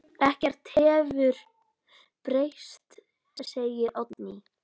Ekkert hefur breyst, segir Oddný.